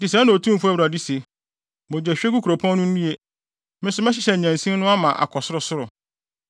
“ ‘Enti sɛɛ na Otumfo Awurade se: “ ‘Mogyahwiegu kuropɔn no nnue! Me nso mɛhyehyɛ nnyansin no ama akɔ sorosoro.